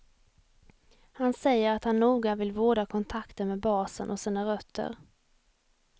Han säger att han noga vill vårda kontakten med basen och sina rötter.